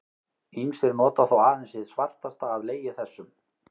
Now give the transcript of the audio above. Ýmsir nota þó aðeins hið svartasta af legi þessum.